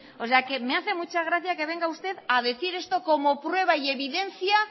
o sea que me hace mucha gracia que venga usted a decir esto como prueba y evidencia